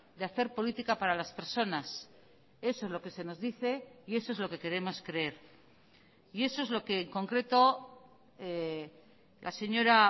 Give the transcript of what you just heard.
de hacer política para las personas eso es lo que se nos dice y eso es lo que queremos creer y eso es lo que en concreto la señora